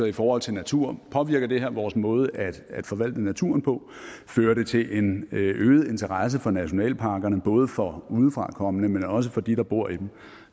i forhold til natur påvirker det her vores måde at forvalte naturen på fører det til en øget interesse for nationalparkerne både for udefrakommende men også for dem der bor i dem